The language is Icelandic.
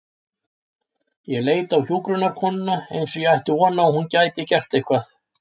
Ég leit á hjúkrunarkonuna eins og ég ætti von á að hún gæti gert eitthvað.